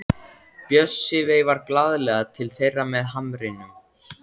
Bjössi veifar glaðlega til þeirra með hamrinum.